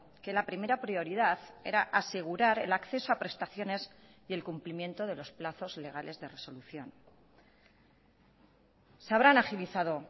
que la primera prioridad era asegurar el acceso a prestaciones y el cumplimiento de los plazos legales de resolución se habrán agilizado